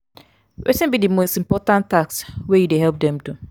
wetin be di most important task wey you dey help dem do?